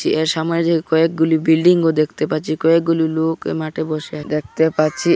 এর সামাজে কয়েকগুলি বিল্ডিংও দেখতে পাচ্ছি কয়েকগুলি লোক মাঠে বসে দেখতে পাচ্ছি।